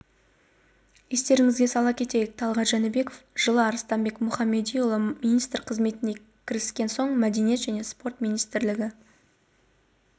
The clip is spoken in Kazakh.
естеріңізге сала кетейік талғат жәнібеков жылы арыстанбек мұхамадиұлы министр қызметіне кіріскен соң мәдениет және спорт министрлігі